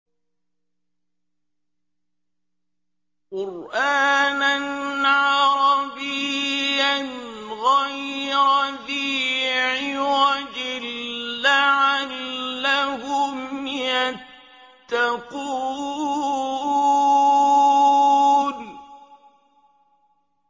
قُرْآنًا عَرَبِيًّا غَيْرَ ذِي عِوَجٍ لَّعَلَّهُمْ يَتَّقُونَ